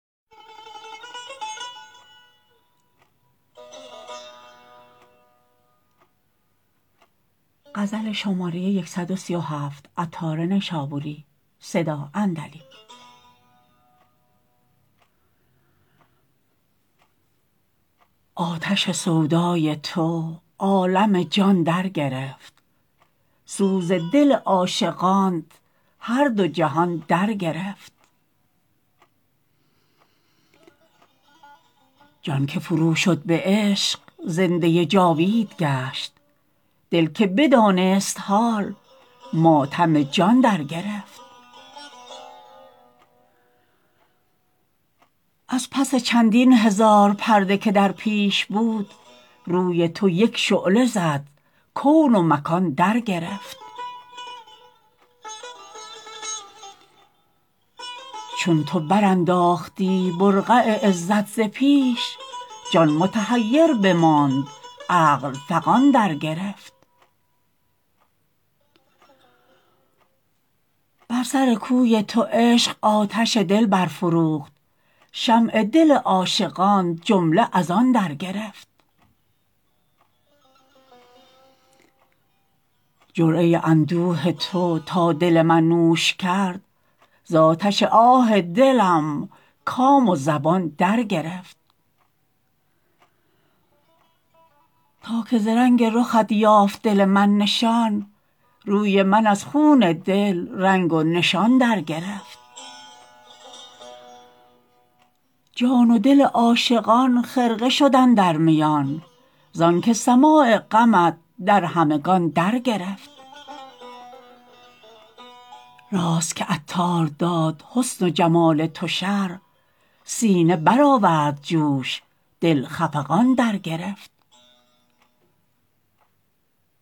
آتش سودای تو عالم جان در گرفت سوز دل عاشقان هر دو جهان در گرفت جان که فرو شد به عشق زنده جاوید گشت دل که بدانست حال ماتم جان در گرفت از پس چندین هزار پرده که در پیش بود روی تو یک شعله زد کون و مکان در گرفت چون تو برانداختی برقع عزت ز پیش جان متحیر بماند عقل فغان در گرفت بر سر کوی تو عشق آتش دل برفروخت شمع دل عاشقان جمله از آن در گرفت جرعه اندوه تو تا دل من نوش کرد زآتش آه دلم کام و زبان در گرفت تا که ز رنگ رخت یافت دل من نشان روی من از خون دل رنگ و نشان در گرفت جان و دل عاشقان خرقه شد اندر میان زانکه سماع غمت در همگان در گرفت راست که عطار داد حسن و جمال تو شرح سینه برآورد جوش دل خفقان در گرفت